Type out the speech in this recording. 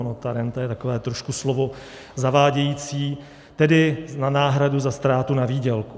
Ona ta renta je takové trošku slovo zavádějící, tedy na náhradu za ztrátu na výdělku.